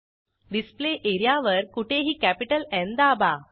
display एरियावर कुठेही capital न् दाबा